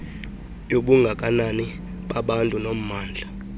yobungakanani babantu nommandla